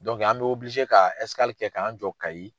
an bi ka kɛ k'an jɔ Kayi.